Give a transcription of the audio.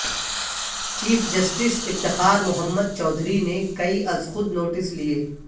chief justice Iftikhar Muhammad Chaudhry نے کئی از خود نوٹس لیے